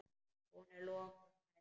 Hún er lokuð og læst.